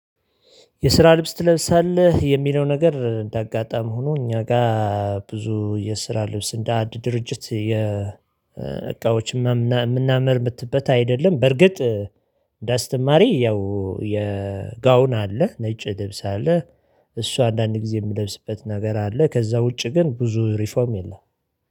የስራ ልብስ ትለብሳለህ የሚለው ነገር እንዳጋጣሚ ሆኖ እኛ ጋር ብዙ የስራ ልብስ እንደ አንድ ድርጅት የ እቃዎች የምናመርትበት አይደለም። በርግጥ እንደ አስተማሪ ያው ጋውን አለ ነጭ ልብስ አለ። እሷ አንዳንድ ጊዜ የምለብስበት ነገር አለ ከዛ ውጪ ግን ብዙ ሪፎርም የለም።